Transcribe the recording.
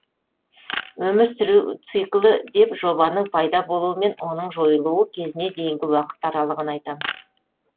өмір сүру циклі деп жобаның пайда болуы мен оның жойылуы кезіне дейінгі уақыт аралығын айтамыз